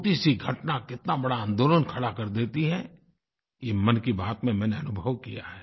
छोटीसी घटना कितना बड़ा आन्दोलन खड़ा कर देती है ये मन की बात में मैंने अनुभव किया है